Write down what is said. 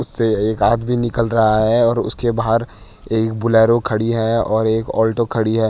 उससे एक आदमी निकल रहा है और उसके बाहर एक बुलेरो खड़ी है और एक ऑल्टो खड़ी है।